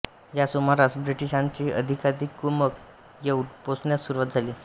या सुमारास ब्रिटिशांची अधिकाधिक कुमक येउन पोचण्यास सुरुवात झाली